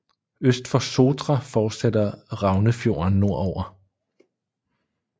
Øst for Sotra fortsætter Raunefjorden nordover